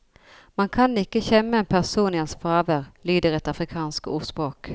Man kan ikke kjemme en person i hans fravær, lyder et afrikansk ordspråk.